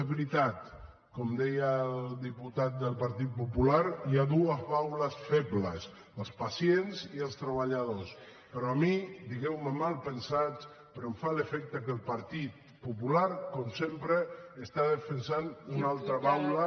és veritat com deia el diputat del partit popular hi ha dues baules febles els pacients i els treballadors però a mi digueu me malpensat em fa l’efecte que el partit popular com sempre està defensant una altra baula